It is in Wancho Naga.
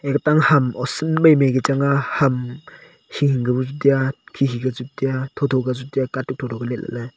aga tam ham osan mai mai ka chang aa ham hingku bu chu tiga khi khi ku chu tiga tho tho ka chu tiya katuk tho tho ka letlale.